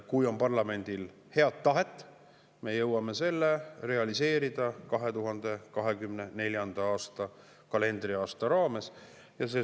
Kui parlamendil on head tahet, siis me jõuame selle realiseerida 2024. aasta kalendriaasta jooksul.